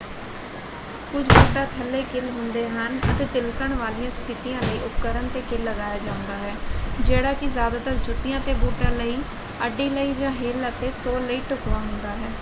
ਕੁਝ ਬੂਟਾਂ ਥੱਲੇ ਕਿੱਲ ਹੁੰਦੇ ਹਨ ਅਤੇ ਤਿਲਕਣ ਵਾਲੀਆਂ ਸਥਿਤੀਆਂ ਲਈ ਉਪਕਰਣ 'ਤੇ ਕਿੱਲ ਲਗਾਇਆ ਜਾਂਦਾ ਹੈ ਜਿਹੜਾ ਕਿ ਜ਼ਿਆਦਾਤਰ ਜੁੱਤੀਆਂ ਅਤੇ ਬੂਟਾਂ ਲਈ ਅੱਡੀ ਲਈ ਜਾਂ ਹੀਲ ਅਤੇ ਸੋਲ ਲਈ ਢੁਕਵਾਂ ਹੁੰਦਾ ਹੈ।